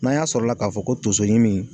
N'an y'a sɔrɔla k'a fɔ ko tonso ɲimi